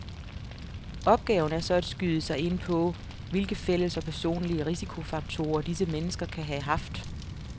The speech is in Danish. Opgaven er så at skyde sig ind på, hvilke fælles og personlige risikofaktorer disse mennesker kan have haft.